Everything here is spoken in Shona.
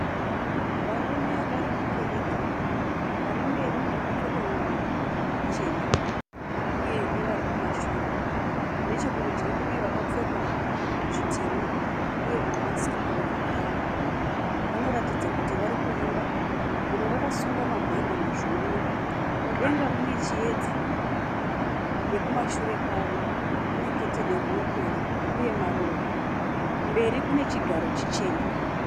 Varume varimukereke, varimberi vakapfeka nguwo chena uye nevarikumashure. Nechekurudyi kune vakapfeka zvitema uye mamask pamiromo yavo vanoratidza kuti varikuimba, vamwe vakasunga mabhandi muzviuno. Mudenga mune chiyedza nekumashure kwavo kune keteni rinopenya uye maruva. Mberi kune chigaro chichena.